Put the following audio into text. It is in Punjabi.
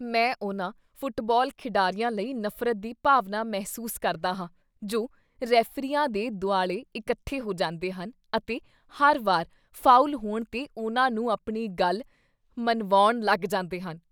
ਮੈਂ ਉਹਨਾਂ ਫੁੱਟਬਾਲ ਖਿਡਾਰੀਆਂ ਲਈ ਨਫ਼ਰਤ ਦੀ ਭਾਵਨਾ ਮਹਿਸੂਸ ਕਰਦਾ ਹਾਂ ਜੋ ਰੈਫ਼ਰੀਆਂ ਦੇ ਦੁਆਲੇ ਇਕੱਠੇ ਹੋ ਜਾਂਦੇ ਹਨ ਅਤੇ ਹਰ ਵਾਰ ਫਾਉਲ ਹੋਣ 'ਤੇ ਉਨ੍ਹਾਂ ਨੂੰ ਆਪਣੀ ਗੱਲ ਮਨਵਾਉਣ ਲਗ ਜਾਂਦੇ ਹਨ।